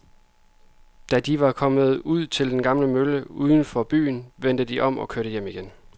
Da de var kommet ud til den gamle mølle uden for byen, vendte de om og kørte hjem igen.